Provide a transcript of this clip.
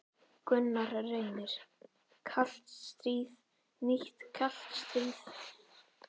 Gunnar Reynir: Kalt stríð, nýtt kalt stríð?